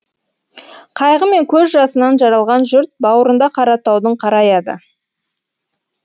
қайғы мен көз жасынан жаралған жұрт бауырында қаратаудың қараяды